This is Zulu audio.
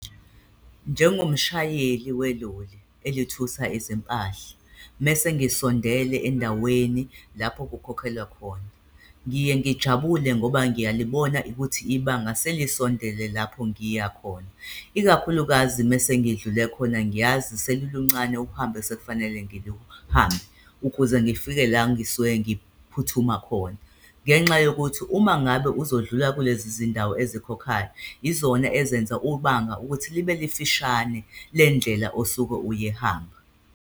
Njengomshayeli weloli elithutha izimpahla, mese ngisondele endaweni lapho kukhokhelwa khona, ngiye ngijabule ngoba ngiyalibona ukuthi ibanga selisondele lapho ngiya khona. Ikakhulukazi mese ngidlule khona, ngiyazi seluluncane uhambo esekufanele ngiluhambe ukuze ngifike la ngisuke ngiphuthuma khona ngenxa yokuthi umangabe uzodlula kulezi zindawo ezikhokhayo, yizona ezenza ubanga ukuthi libe lifishane, le ndlela osuke uyihamba.